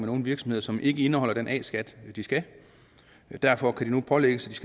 nogle virksomheder som ikke indeholder den a skat de skal derfor kan de nu pålægges